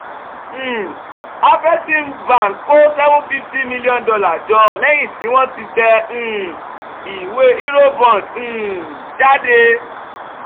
um afreximbank kó seven fifty million dollar jọ lẹ́yìn tí wọ́n ti tẹ um ìwé eurobond um jáde